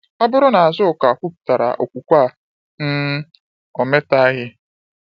Ọ bụrụ na Azuka kọwpụtara okwukwe a, um ometaghị.